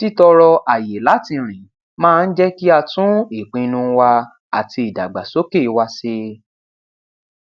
títọrọ àyè láti rìn máa ń jẹ kí á tún ìpinnu wa àti ìdàgbàsókè wa se